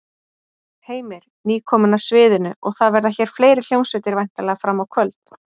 Heimir: Nýkomin af sviðinu og það verða hér fleiri hljómsveitir væntanlega fram á kvöld?